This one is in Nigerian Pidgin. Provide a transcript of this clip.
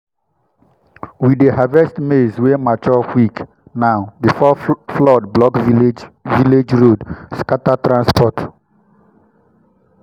we dey harvest maize wey mature quick now before flood block village village road scatter transport.